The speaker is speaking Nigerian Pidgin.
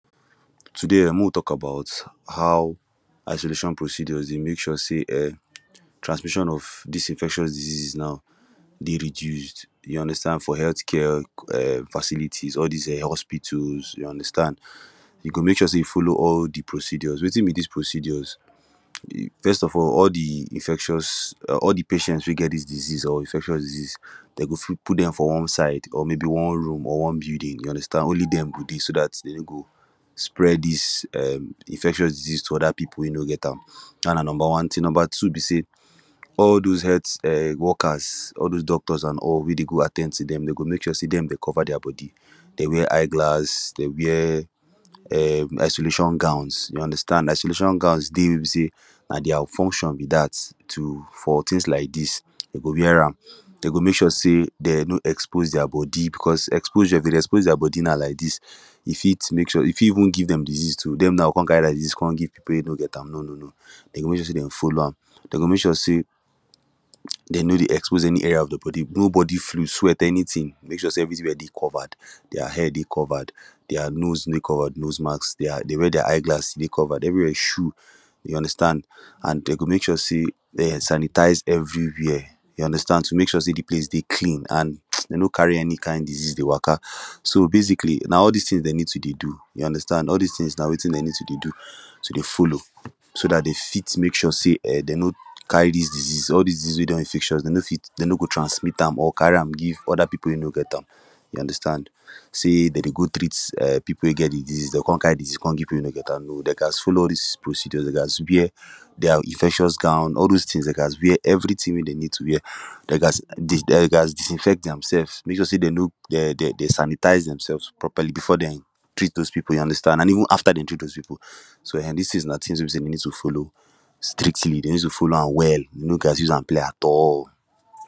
Today um mek we tok about how isolation procedures dey mek sure say um transmission of dis infectious diseases naw dey reduced you understand for health care facilities all dis um hospitals you understand you go mek sure say you follow all de procedures wetin be dis procedures first of all all de infectious all de patient wey get dis disease or infectious diseases dem go fit put dem for one side or maybe one room or one building only dem go dey so dat dem no go spread dis um infectious disease to oda people wey no get am dat na number tin number two be say all those health workers all those doctors and all wey dey go at ten d to dem dem go mek sure say dem dey cover dia body dey wear eyeglass dey wear um isolation gowns you understand isolation gowns dey wey be say na dia function be dat to for tins like dis dem go wear am de go mek sure say dem no expose dia body becos exposure if dem dey expose dia body na like dis e fit mek sure e fit even give dem de disease too so dem now go com carry am come give people wey no get am no no no dem go mek sure say dem follow am dem go mek sure say dem no dey expose any are of dia body no body fluid sweat anytin dey make sure say everytin dey well covered dia head dey covered dia nose dey covered nose mask dey wear dia eye glass dey covered everywia shower you understand an dem go mek sure say dem sanitize everywia you understand to mek sure say de place dey clean an dem no carry any kind disease dey waka so basically na all dis tins dem need to dey do you understand na all dis tins dem need to dey do do to dey follow so dat dem fit mek sure say um dem no carry dis disease all dis disease wey dey infectious dem no fit dem no go transmit am or carry am give oda people wey no get am you understand say dem dey go treat people wey get de disease dem go carry disease come give people we no get am no dey gast follow all dis procedures dey gast wear dia infectious gown all those tins dey gast wear everytin wey dem need to wear de gast dey gast disinfect dem self’s mek sure say dem sanitize dem sefs properly before dem treat those people you understand and even after dem treat those people so um so dis tins na tins wey be say we need to follow strictly dey need to follow am well dey no gast use am play at all